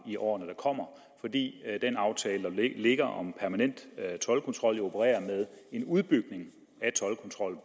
i årene der kommer fordi den aftale der ligger om permanent toldkontrol jo opererer med en udbygning af toldkontrollen